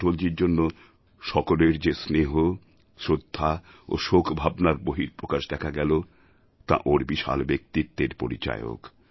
অটলজীর জন্য সকলের যে স্নেহ শ্রদ্ধা ও শোকভাবনার বহিঃপ্রকাশ দেখা গেল তা ওঁর বিশাল ব্যক্তিত্বের পরিচায়ক